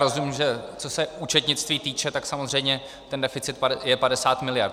Rozumím, že co se účetnictví týče, tak samozřejmě ten deficit je 50 miliard.